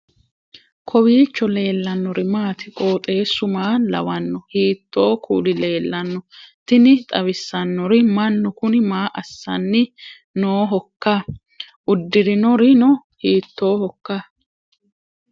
kowiicho leellannori maati ? qooxeessu maa lawaanno ? hiitoo kuuli leellanno ? tini xawissannori mannu kuni maa assanni noohoikka udirinorino hiittoohoikka